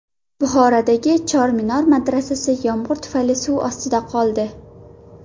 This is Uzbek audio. Buxorodagi Chorminor madrasasi yomg‘ir tufayli suv ostida qoldi .